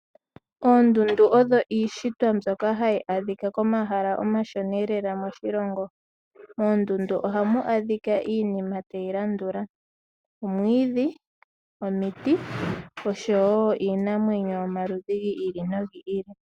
Oondundu odho iishitwa mbyoka hayi adhika komahala omashona lela moshilongo. Moondundu ohamu adhika iinima tayi landula; omwiidhi, omuti, oshowo iinamwenyo yomaludhi gi ili nogi ili.